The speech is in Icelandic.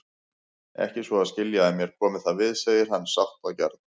Ekki svo að skilja að mér komi það við, segir hann sáttgjarn.